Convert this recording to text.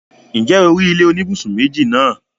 ǹjẹ́ o rí ilé oníbùsùn méjì náà?